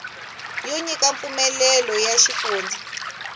yo nyika mpfumelelo ya xifundza